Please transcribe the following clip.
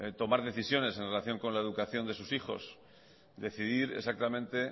tomar decisiones en relación con la educación de sus hijos decidir exactamente